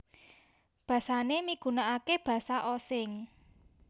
Basané migunakaké Basa Osing